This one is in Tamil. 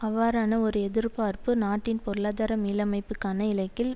அவ்வாறான ஒரு எதிர்பார்ப்பு நாட்டின் பொருளாதார மீளமைப்புக்கான இலக்கில்